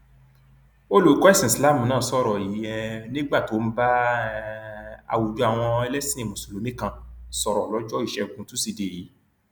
agbẹjọrò fáwọlé sọrọ yìí fún aláròye lọjọ etí um furuufee òpin ọsẹ yìí nígbà tí akọròyìn wá pè é lórí um fóònù